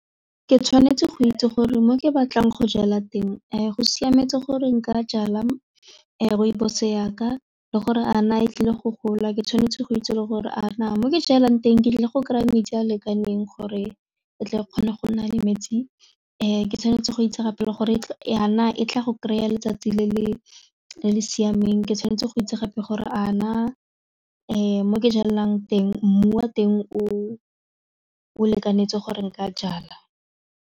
Ke tshwanetse go itse gore mo ke batlang go jala teng a go siametse gore nka jala rooibos yaka le gore a na e tlile go gola, ke tshwanetse go itse le gore a na mo ke jelang teng ke tlile go kry-a metsi a lekaneng gore tle kgone go nna le metsi ke tshwanetse go itse gape le gore ya na e tla go kry-a letsatsi le le siameng ke tshwanetse go itse gape gore a na mo ke jalang teng mmu wa teng o lekanetse gore nka jala.